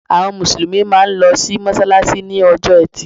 Àwọn Mùsùlùmí máa n lo sí mọ́sálásí ní ojó etì